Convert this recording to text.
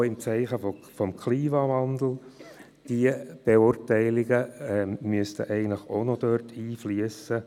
Die Zeichen des Klimawandels sollten ebenfalls in die Beurteilung zu einem Konzessionsgesuch einfliessen.